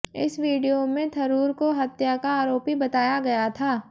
इस वीडियो में थरूर को हत्या का आरोपी बताया गया था